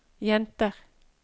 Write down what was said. jenter